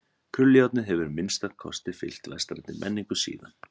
Krullujárnið hefur að minnsta kosti fylgt vestrænni menningu síðan.